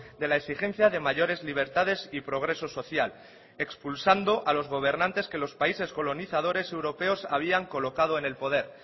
de la exigencia de mayores libertades y progreso social expulsando a los gobernantes que los países colonizadores europeos habían colocado en el poder